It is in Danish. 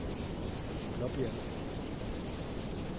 Blåbjerg